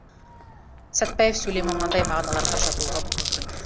сәтбаев сөйлемі мынадай мағыналарға жатуға мүмкін